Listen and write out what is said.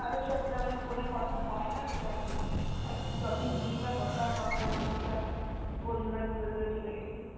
কারোর সাথে তেমন phone এ কথা হয় না তো তাই। আর কী topic নিয়েই বা কথা হবে এখন সব বন্ধুরা দূরে দূরে চলে গেছি।